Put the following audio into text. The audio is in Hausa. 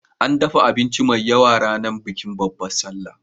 An dafa abinci mai yawa ranar bikin Babbar Sallah